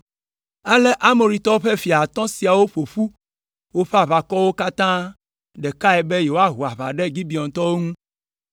Ale Amoritɔwo ƒe fia atɔ̃ siawo ƒo ƒu woƒe aʋakɔwo katã ɖekae be yewoaho aʋa ɖe Gibeontɔwo ŋu.